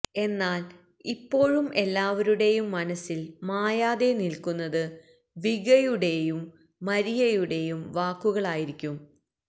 എന്നാല് ഇപ്പോഴും എല്ലാവരുടെയും മനസില് മായാതെ നില്ക്കുന്നത് വികയുടേയും മരിയയുടേയും വാക്കുകളായിരിക്കും